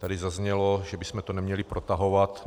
Tady zaznělo, že bychom to neměli protahovat.